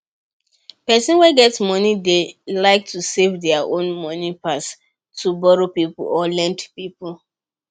people wey get money dey like to save their own money pass to borrow people or lend people